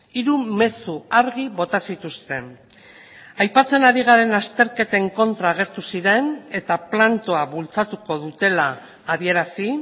hiru mezu argi bota zituzten aipatzen ari garen azterketen kontra agertu ziren eta plantoa bultzatuko dutela adierazi